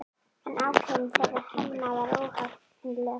En ákvörðun þeirra Hemma var óhagganleg.